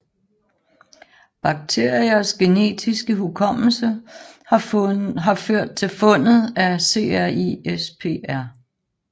Bakteriers genetiske hukommelse har ført til fundet af CRISPR